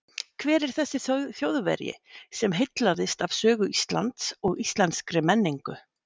Hver var þessi Þjóðverji sem heillaðist af sögu Íslands og íslenskri menningu?